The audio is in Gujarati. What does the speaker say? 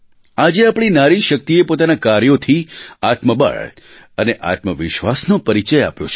આજે આપણી નારી શક્તિએ પોતાનાં કાર્યોથી આત્મબળ અને આત્મવિશ્વાસનો પરિચય આપ્યો છે